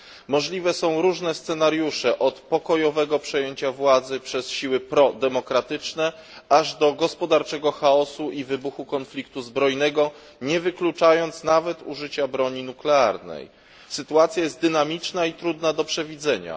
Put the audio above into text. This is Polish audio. Możliwe są różne scenariusze od pokojowego przejęcia władzy przez siły prodemokratyczne, aż do gospodarczego chaosu i wybuchu konfliktu zbrojnego, nie wykluczając nawet użycia broni nuklearnej. Sytuacja jest dynamiczna i trudna do przewidzenia.